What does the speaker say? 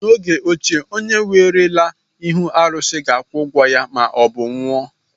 N'oge ochie, onye werela ihe arụsị ga-akwụ ụgwọ ya maọbụ ya anwụọ.